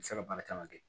U bɛ se ka baara caman kɛ